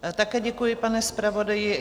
Také děkuji, pane zpravodaji.